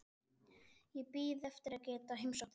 Ég bíð eftir að geta heimsótt þig.